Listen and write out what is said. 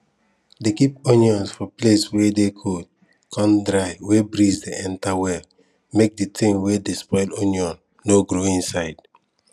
dey keep onions for place wey dey cold con dry wey breeze dey enter well make de tin wey dey spoil onion no grow inside